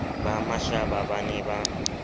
ba mashaba ba ne ba